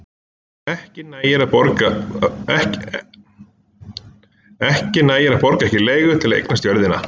Ekki nægir að borga ekki leigu til að eignast jörðina.